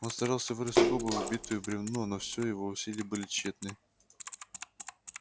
он старался вырвать скобу вбитую в бревно но все его усилия были тщетны